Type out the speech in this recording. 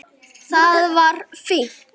Það var fínt.